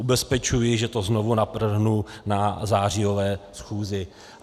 Ubezpečuji, že to znovu navrhnu na zářijové schůzi.